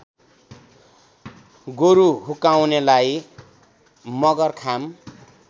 गोरु हुक्काउनेलाई मगरखाम